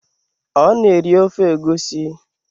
Ọ na-eri ofe egusi